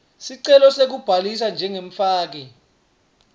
sicelo sekubhalisa njengemfaki